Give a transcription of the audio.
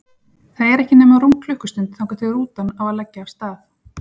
Það er ekki nema rúm klukkustund þangað til rútan á að leggja af stað.